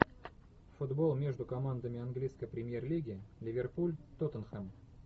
футбол между командами английской премьер лиги ливерпуль тоттенхэм